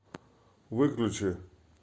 выключи